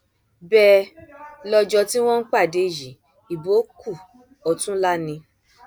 bẹẹ lọjọ tí wọn ń pàdé yìí ìbò kù ọtúnlá ni